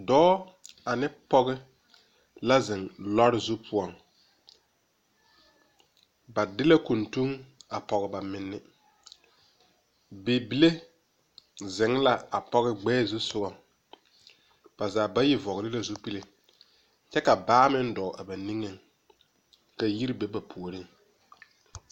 Dɔɔ ane pɔge la zeŋ lɔre zu poɔŋ ba de kuntuŋ a pɔge ba menne bibile zeŋ la a pɔge gbɛɛ zusugɔ ba zaa bayi vɔgle la zupile kyɛ ka baa meŋ dɔɔ a ba niŋeŋ ka yiri be ba puoriŋ.